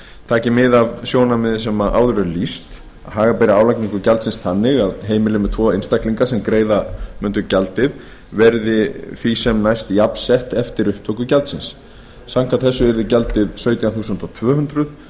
taki mið af því sjónarmiði sem áður er lýst að haga beri álagningu gjaldsins þannig að heimili með tvo einstaklinga sem greiða mundu gjaldið verði því næst sem jafnsett eftir upptöku gjaldsins samkvæmt þessu yrði gjaldið sautján þúsund tvö hundruð krónur